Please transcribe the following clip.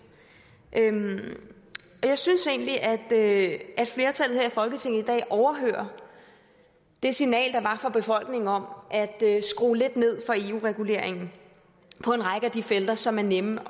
jeg synes egentlig at flertallet her i folketinget i dag overhører det signal der var fra befolkningen om at skrue lidt ned for eu reguleringen på en række af de felter som er nemme